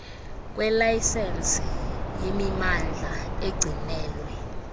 kwelayisensi yemimandla egcinelwe